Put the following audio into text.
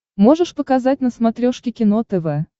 можешь показать на смотрешке кино тв